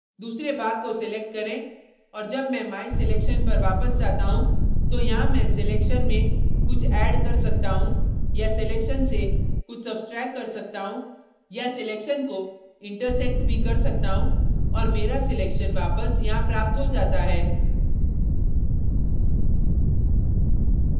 दूसरे भाग को select करें और जब मैं my selection पर वापस जाता हूँ तो यहाँ मैं selection में कुछ add कर सकता हूँ या selection से कुछ सब्स्ट्रैक्ट कर सकता हूँ या selection को intersect भी कर सकता हूँ और मेरा selection वापस यहाँ प्राप्त हो जाता है